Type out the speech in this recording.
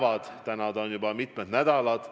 Aga nüüd on see toiminud juba mitmed nädalad.